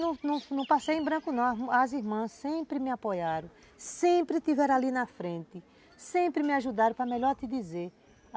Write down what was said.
Não não passei em branco não, as irmãs sempre me apoiaram, sempre tiveram ali na frente, sempre me ajudaram para melhor te dizer.